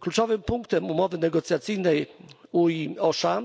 Kluczowym punktem umowy negocjacyjnej UE OSHA